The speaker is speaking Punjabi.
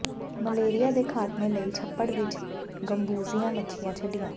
ਮਲੇਰੀਆ ਦੇ ਖ਼ਾਤਮੇ ਲਈ ਛੱਪੜ ਵਿਚ ਗੰਬੂਜ਼ੀਆ ਮੱਛੀਆਂ ਛੱਡੀਆਂ